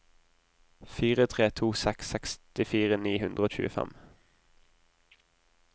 fire tre to seks sekstifire ni hundre og tjuefem